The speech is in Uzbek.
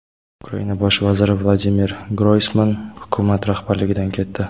Ukraina bosh vaziri Vladimir Groysman hukumat rahbarligidan ketdi.